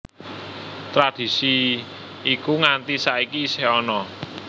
Tradisi iku nganti saiki isih ana